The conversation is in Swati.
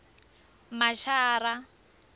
mashara